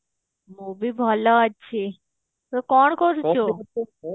ମୁଁ ବି ଭଲ ଅଛି ତୁ କଣ କରୁଛୁ